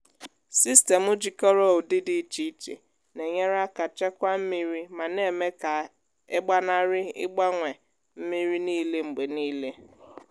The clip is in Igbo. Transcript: sistemụ jikọrọ ụdị dị iche iche na-enyere aka chekwaa mmiri ma na-eme ka e gbanarị ịgbanwe mmiri niile mgbe niile.